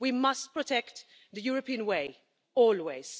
We must protect the European way, always.